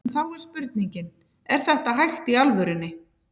En þá er spurningin, er þetta hægt í alvörunni?